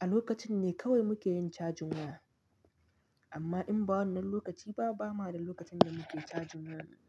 a lokacin ne kawai muke yin cajin waya. Amma in ba wannan lokaci ba, ba ma da lokacin da muke cajin waya.